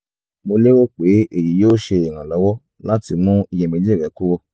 mo lérò pe eyi yoo ṣe iranlọwọ lati mú iyemeji rẹ kúrò